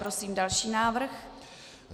Prosím další návrh.